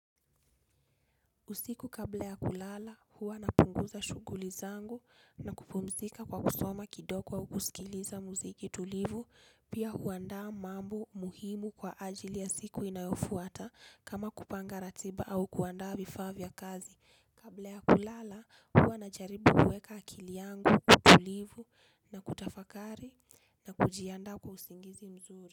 Usiku kabla ya kulala huwa napunguza shughuli zangu na kupumzika kwa kusoma kidogo au kusikiliza muziki tulivu pia huandaa mambo muhimu kwa ajili ya siku inayofuata kama kupanga ratiba au kuandaa vifaa vya kazi. Kabla ya kulala huwa najaribu kuweka akili yangu tulivu na kutafakari na kujiandaa kwa usingizi mzuri.